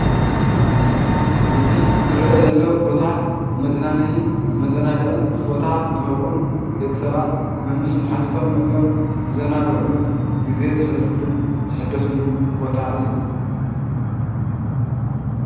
እዚ ዝርአ ዘሎ ቦታ መዝናነይን መዘናግዕን ቦታ እንትኸውን ደቂ ሰባት መምስ መሓዙቶም መፂኦም ዝዘናግዕሉን ግዜኦም ዘሕልፍሉን ዝሕደሱሉን ቦታ እዩ።